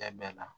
Tɛ bɛɛ la